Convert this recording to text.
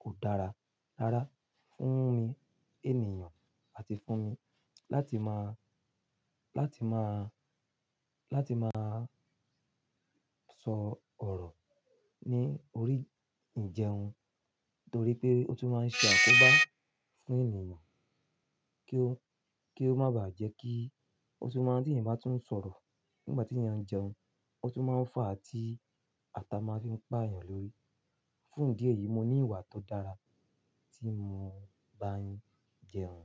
kò dára rárá fún mi ènìyàn àti fún mi láti má, láti má, láti má sọ ọ̀rọ̀ ní orí ńjẹun nítorí pé ó tún máa ṣe àkóbá fún ènìyàn kí ó, kí ó má bàá jẹ́ kí ó tún má tí èèyàn bá tún ń sọ̀rọ̀ nígbà tí èèyàn ń jẹun, ó tún máa ń fà á tí ata máa fi ń pá èèyàn lórí. Fún ìdí èyí, mo ní ìwà tó dára tí mo bá ń jẹun.